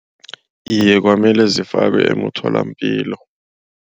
Iye kwamele zifakwe emtholapilo.